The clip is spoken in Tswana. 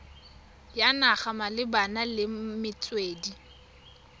ya naga malebana le metswedi